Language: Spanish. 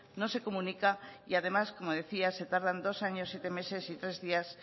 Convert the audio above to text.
no se comunica y además como decía se tardan dos años siete meses y tres días